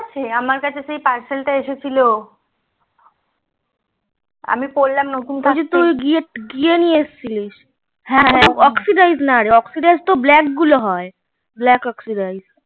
সাি আমার কাছে সেই pursal টা এসেছিলো আমি পরলাম গিয়ে নিয়াসছিলিস ব্যাগগুলো হয়